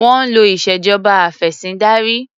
Wọ́n ń lò ìṣèjọba afẹ̀sìndarí.